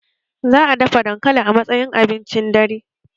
Za'a dafa dankali a matsayin abincin dare